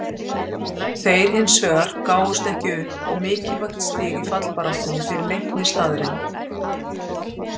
Þeir hinsvegar gáfumst ekki upp og mikilvægt stig í fallbaráttunni fyrir Leikni staðreynd.